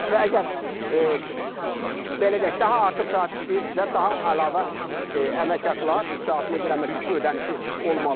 Və əgər, belə deyək, daha artıq saat işləyirsizsə, daha əlavə əmək haqları, iş saatına görə əmək haqqı ödənişi olmalıdır.